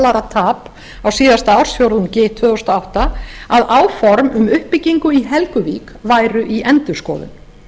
dollara tap á síðasta ársfjórðungi tvö þúsund og átta að áform um uppbyggingu álvers í helguvík væru í endurskoðun